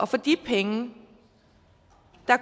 for de penge